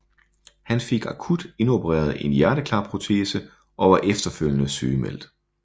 Han fik akut indopereret en hjerteklapprotese og var efterfølgende sygemeldt